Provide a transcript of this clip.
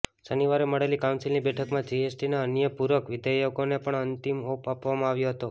શનિવારે મળેલી કાઉન્સિલની બેઠકમાં જીએસટીના અન્ય પૂરક વિધેયકોને પણ અંતિમ ઓપ આપવામાં આવ્યો હતો